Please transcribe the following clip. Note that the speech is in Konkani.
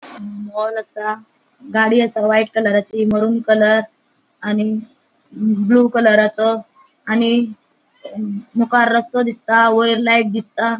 अ मॉल आसा गाडी आसा व्हाइट कलराची मरून कलर आणि ब्लू कलरा चो आणि मुखार रस्तों दिसता वयर लाइट दिसता.